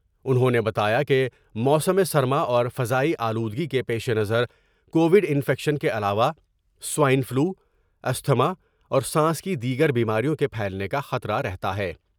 انہوں نے بتایا کہ موسم سرما اور فضائی آلودگی کے پیش نظر کوڈ انفیکشن کے علاوہ سوائن فلو ، استھما اور سانس کی دیگر بیماریوں کے پھیلنے کا خطرہ رہتا ہے۔